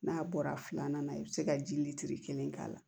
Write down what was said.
N'a bɔra filanan na i bɛ se ka ji kelen k'a la